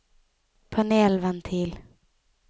panelventil